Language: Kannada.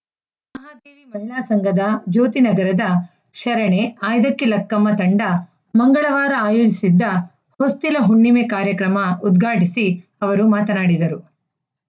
ಮಹಿಳಾ ಸಂಘದ ಜ್ಯೋತಿ ನಗರದ ಶರಣೆ ಆಯ್ದಕ್ಕಿ ಲಕ್ಕಮ್ಮ ತಂಡ ಮಂಗಳವಾರ ಆಯೋಜಿಸಿದ್ದ ಹೊಸ್ತಿಲ ಹುಣ್ಣಿಮೆ ಕಾರ್ಯಕ್ರಮ ಉದ್ಘಾಟಿಸಿ ಅವರು ಮಾತನಾಡಿದರು